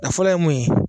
A fɔlɔ ye mun ye